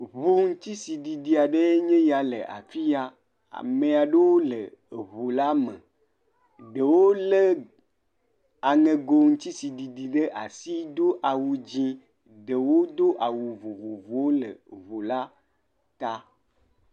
Ŋu ŋutisiɖiɖi aɖee nye ya le afi ya. Ame aɖewo le eŋula me. Ɖewo lé aŋɛgo ŋutisiɖiɖi ɖe asi do awu dzẽ. Ɖewo do awu vovovowo le ŋula ta.